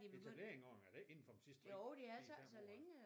Etablering af den er det ikke indenfor den sidste 3 4 5 år